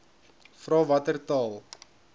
vra watter taal